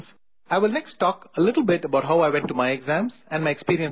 I will next talk a little bit about how I went to my exams and my experiences for that